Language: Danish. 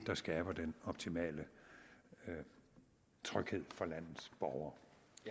der skaber den optimale tryghed for landets borgere